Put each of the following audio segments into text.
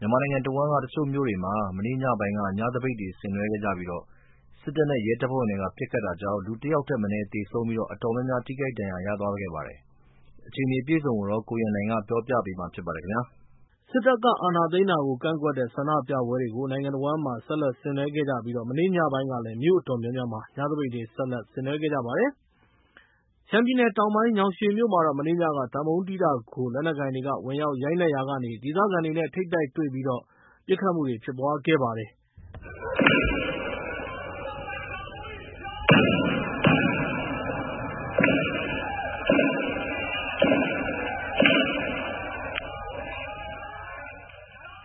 မြန်မာနိုင်ငံတဝန်းက တချို့မြို့တွေမှာ မနေ့ညပိုင်းက ညသပိတ်တွေဆင်နွဲခဲ့ကြပြီးတော့ စစ်တပ်နဲ့ ရဲတပ်ဖွဲ့တွေက ပစ်ခတ်တာတွေကြောင့် ၁ ယောက်ထက် မနည်း သေဆုံးပြီး၊ အတော်များများ ထိခိုက်ဒဏ်ရာ ရသွားခဲ့ပါတယ်။ ဒီအခြေအနေအပြည့်အစုံကိုတော့ ကိုရန်နိုင်က ပြောပြပေးမှာဖြစ်ပါတယ်။ စစ်တပ်ကအာဏာသိမ်းတာကို ကန့်ကွက်တဲ့ ဆန္ဒပြပွဲတွေကို နိုင်ငံတဝန်းဆက်လက်ဆင်နွဲနေကြတာမှာ မနေ့ညပိုင်းကလည်း မြို့အတော်များများမှာ ညသပိတ်တွေ ဆက်လက်ဆင်နွဲခဲ့ကြပါတယ်။ ရှမ်းပြည်နယ် တောင်ပိုင်း ညောင်ရွှေမြို့မှာတော့ မနေ့ညက သံပုံးတီးတားကို လက်နက်ကိုင်တွေက ဝင်ရောက်ရိုက်နှက်ရာကနေ ဒေသခံတွေနဲ့ ထိပ်တိုက်တွေ့ပြီး ပစ်ခတ်မှုတွေ ဖြစ်ပွားခဲ့ပါတယ်။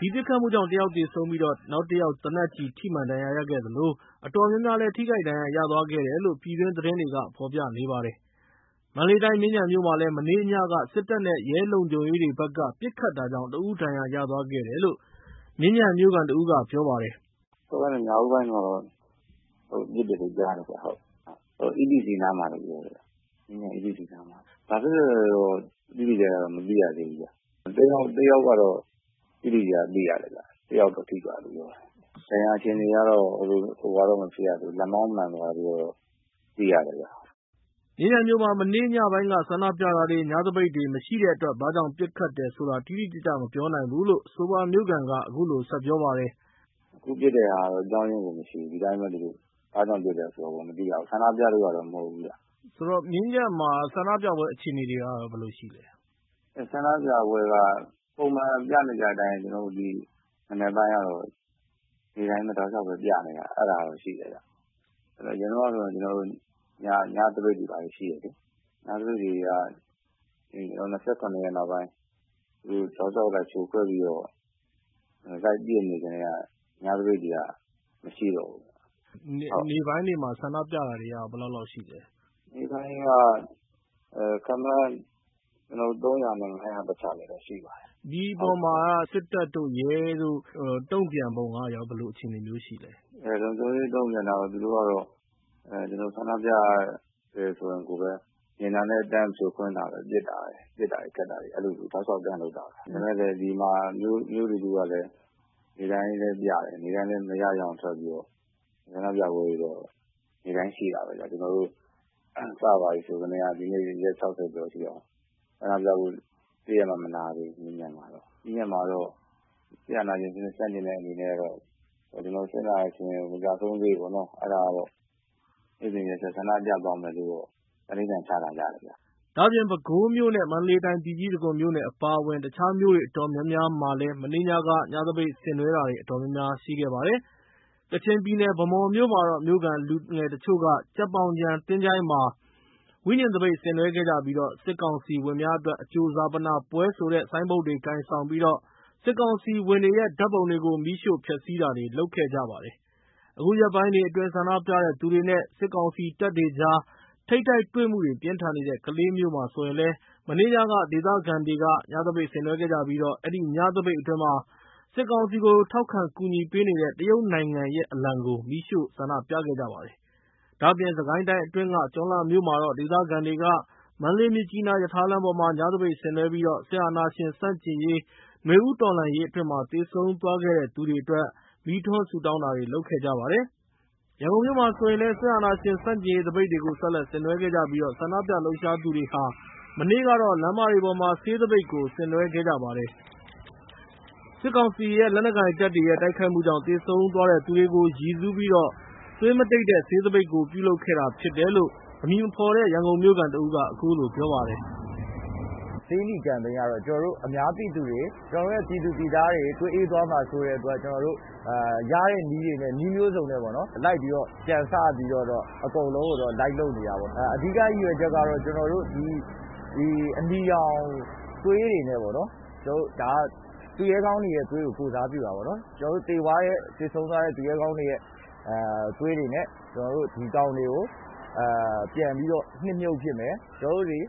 ဒီပစ်ခတ်မှုကြောင့် ၁ ယောက် သေဆုံးပြီး ၊ ၁ ယောက် သေနတ်ကျည်ထိမှန် ဒဏ်ရာရပြီး အတော်များများလည်း ထိခိုက်ဒဏ်ရာရသွားတယ်လို့ ပြည်တွင်းသတင်းတွေက ဖော်ပြနေကြပါတယ်။ မန္တလေးတိုင်း မြင်းခြံမြို့မှာလည်း မနေ့ညက စစ်တပ်နဲ့ရဲလုံခြုံရေးတွေဘက်က ပစ်ခတ်တာကြောင့် ၁ ဦး ဒဏ်ရာရသွားခဲ့တယ်လို့ မြင်းခြံမြို့ခံတဦးက ပြောပါတယ်။ “မနေ့ည ညဦးပိုင်းမှာတော့ ပစ်တယ်လို့ ကြားတယ်ခင်ဗျ EPC နားမှာလို့ ပြောတယ် ။ မြင်းခြံ EPC နားမှာ။ ဘာဖြစ်လို့လဲဆိုတာတော့ တိတိကျကျ မသိရသေးဘူး ၁ ယောက်တော့ တိတိကျကျ သိရတယ် တယောက်တော့ ထိသွားတယ်ခင်ဗျ ။ ဒဏ်ရာအခြေအနေကတော့ လက်မောင်းမှန်သွားတယ်လို့ သိရတယ်ခင်ဗျ။” မြင်းခြုံမြို့မှာ မနေ့ညပိုင်းက ဆန္ဒပြတာတွေ ညသပိတ်တွေ မရှိတာတဲ့အတွက် ဘာကြောင့်ပစ်ခတ်တယ်ဆိုတာ တိတိကျကျ မပြောနိုင်ဘူးလို့ အဆိုပါမြို့ခံက အခုလို ဆက်ပြောပါတယ်။ “အခုပစ်တာကတော့ အကြောင်းအရင်းကို မရှိဘူး ဒီအတိုင်း ဘာကြောင်း ပစ်တယ်ဆိုတာတော့ မသိရဘူး၊ ဆန္ဒပြလို့ မဟုတ်ဘူးခင်ဗျ။ မေး။ ။ ဆိုတော့ မြင်းခြံမှာ ဆန္ဒပြပွဲအခြေအနေတွေကရော ဘယ်လိုရှိသလဲ။ ဖြေ။ ။ ဆန္ဒပြပွဲက ပုံမှန်ပြနေကြအတိုင်း မနက်ပိုင်းကတော့ နေ့တိုင်း တောက်လျောက် ပြနေတာတော့ရှိတယ်ခင်ဗျ။ အရင်တုန်းကဆိုရင် ကျနော်တို့ ညသပိတ်တွေဘာတွေရှိတယ်။ ညသပိတ်တွေက ၂၇ ရက်နေ့နောက်ပိုင်း တောက်လျှောက်ဖြိုခွဲပြီးတော့ လိုက်ပစ်နေကတည်းက ညသပိတ်တွေက မရှိတော့ဘူး။ မေး။ ။ နေ့ပိုင်းတွေမှာ ဆန္ဒပြတာတွေ ဘယ်လောက်လောက်ရှိသလဲ ဖြေ။ ။ နေ့ပိုင်းကတော့ ခန့်မှန်း ၃၀၀ နဲ့ ၅၀၀ ကြားတော့ ရှိပါတယ်။ မေး။ ။ ဒီအပေါ်မှာ စစ်တပ်တို့ ရဲတို့ တုံ့ပြန်ပုံရရော ဘယ်လိုအခြေအနေမျိုး ရှိသလဲ။ ဖြေ။ ။ သူတို့ကတော့ ဒီလို ဆန္ဒပြတယ်ဆိုပဲ မြင်တာနဲ့ တန်း ဖြိုခွဲပစ်တာပဲ ၊ ပစ်တာတွေ ခတ်တာတွေ အဲလို တောက်လောက်လုပ်တာပဲ ။ ဒီကမြို့နေသူတွေကလည်း နေ့တိုင်းပြတယ်၊ မရရအောင် ထွက်ပြီးတော့ ဆန္ဒပြပွဲတွေ နေ့တိုင်းရှိတာပဲခင်ဗျ ကျနော်တို့ စစ်အာဏာယူကတည်းက ဒီနေ့ ရက် ၆၀ ကျော်ထိအောင် တရက်မှ မနားသေးဘူး။မြင်းခြံမှာတော့ စစ်အာဏာရှင်စနစ်ဆန့်ကျင်တဲ့အနေနဲ့ စစ်အာဏာရှင် ကျဆုံးတဲ့အထိပေါ့နော် အဲဒါကတော့ နေ့စဉ်ရက်ဆက် ဆန္ဒပြသွားမယ်လို့ သန္နိဋ္ဌာန် ချထားကြတယ်ခင်ဗျ။” ဒါ့အပြင် ပဲခူးမြို့ နဲ့ မန္တလေးတိုင်း ပြည်ကြီးတံခွန်မြို့နယ် အပါအဝင် တခြားမြို့တွေ အတော်များများမှာလည်း မနေ့ညက ညသပိတ်ဆင်နွဲတာတွေ အတော်များများရှိခဲ့ပါတယ်။ ကချင်ပြည်နယ် ၊ ဗန်းမော်မြို့မှာတော့ မြို့ခံလူငယ်တချို့က ကြက်ပေါင်ခြံ သချိုင်းမှာ ဝိဉာဉ်သပိတ်ဆင်နွဲခဲ့ကြပြီး၊ စစ်ကောင်စီဝင်များအတွက် အကြိုဈာပနပွဲဆိုတဲ့ ဆိုင်းဘုတ်တွေကိုင်ဆောင်ပြီး စစ်ကောင်စီဝင်တွေရဲ့ ဓါတ်ပုံတွေကို မီးရှို့ဖျက်ဆီးတာတွေလုပ်ခဲ့တယ်လို့ သိရပါတယ်။ အခုရက်ပိုင်းတွေအတွင်း ဆန္ဒပြတဲ့သူတွေ နဲ့ စစ်ကောင်စီတပ်တွေကြား ထိပ်တိုက်တွေမှုတွေ ပြင်းထန်နေတဲ့ ကလေးမြို့မှာလည်း မနေ့ညက ဒေသခံတွေက ညသပိတ်တွေ ဆင်နွဲခဲ့ကြပြီး၊ အဲဒီညသပိတ်အတွင်း စစ်ကောင်စီကို ထောက်ခံကူညီပေးနေတဲ့ တရုတ်နိုင်ငံရဲက အလံကိုလည်း မီးရှို့ခဲ့ကြပါတယ်။ ဒါ့အပြင် စစ်ကိုင်းတိုင်းအတွင်းက ကျွန်းလှမြို့မှာတော့ ဒေသခံတွေက မန္တလေး-မြစ်ကြီးနား ရထားလမ်းပေါ်မှာ ညသပိတ်ဆင်နွဲပြီးတော့ စစ်အာဏာရှင်ဆန့်ကျင့်ရေး နွေဦးတော်လှန်ရေးအတွင်း ကျဆုံးသွားခဲ့တဲ့သူတွေအတွက် မီးထွန်းဆုတောင်းတာတွေလုပ်ခဲ့ကြပါတယ်။ ဒါ့အပြင် ရန်ကုန်မြို့မှာလည်း စစ်အာဏာရှင်ဆန့်ကျင့်ရေးသပိတ်တွေကို ဆက်လက်ဆင်နွဲခဲ့ကြပြီးတော့ ဆန္ဒပြလှုပ်ရှားသူတွေဟာ မနေ့ကတော့ လမ်းမတွေပေါ်မှာ ဆေးသပိတ်ကို ဆင်နွှဲခဲ့ကြပါတယ်။ စစ်ကောင်စီလက်အောက်ခံ လက်နက်ကိုင်တွေရဲ့ တိုက်ခိုက်မှုကြောင့် ကျဆုံးသွားသူတွေကို ရည်စူးပြီး သွေးမတိတ် ဆေးသပိတ်ကို ပြုလုပ်ခဲ့တာလို့ အမည်မဖော်လိုတဲ့ ရန်ကုန်မြို့ခံက ပြောပါတယ်။ “ဆေးနီ campaign ကတော့ အများပြည်သူတွေ ကျနော်တို့ ပြည်သူ ပြည်သားတွေ သွေးအေးသွားမှာ စိုးတဲ့အတွက် ရတဲ့နည်းတွေနဲ့ ပေါ့နော် နည်းမျိုးစံနဲ့ လိုက်ပြီးတော့ ကြံစပြီးတော့ အကုန်လုံးကိုတော့ လိုက်လုပ်နေတာပေါ့။ အဓိကရည်ရွယ်ချက်ကတော့ ကျနော်တို့ အနီရောင်သွေးတွေနဲ့ ပေါ့နော် ဒါက သူရဲကောင်းတွေရဲ့ သွေးကို ကိုယ်စားပြုတာပေါ့နော် ၊ ကျနော်တို့ သေဆုံးသွားတဲ့ သူရဲကောင်းတွေရဲ့ သွေးတွေနဲ့ ဒီတောင်တွေကို နှစ်မြှုပ်ပစ်မယ် ၊ ကျနော်တို့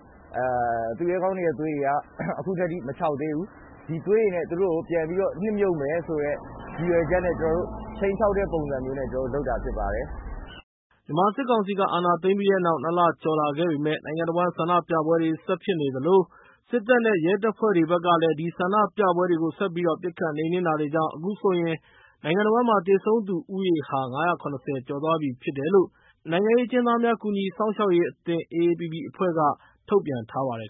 သူရဲကောင်းတွေရဲ့ သွေးတွေက အခုအထိ မခြောက်သေးဘူး ဒီသွေးတွေနဲ့ ပြန်ပြီးတော့ နှစ်မြှုပ်မယ်ဆိုတဲ့ ရည်ရွက်ချက်နဲ့ ကျနော်တို့ ခြိမ်းခြောက်တဲ့ပုံစံမျိုးနဲ့ လုပ်တာဖြစ်ပါတယ်။” မြန်မာစစ်ကောင်စီက အာဏာသိမ်းပြီးတဲ့နောက် ၂ လ ကျော်လာခဲ့ပေမယ့်၊ နိုင်ငံတဝန်း ဆန္ဒပြပွဲတွေ ဆက်ဖြစ်နေသလို၊ စစ်တပ်နဲ့ ရဲတပ်ဖွဲ့တွေဘက်ကလည်း အဲဒီဆန္ဒပြပွဲတွေကို ဆက်ပြီးတော့ ပစ်ခတ်နှိမ်နှင်းတာတွေကြောင့် ၊ အခုဆိုရင် နိုင်ငံတဝန်းမှာ သေဆုံးသူဦးရေဟာ ၅၇၀ ကျော်သွားပြီ ဖြစ်တယ်လို့ နိုင်ငံရေးအကျဉ်းသားများ ကူညီစောင့်ရှောက်ရေးအသင်း AAPPB အဖွဲ့က ထုတ်ပြန်ထားပါတယ်